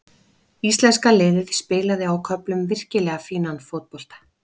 Íslenska liðið spilaði á köflum virkilega fínan fótbolta.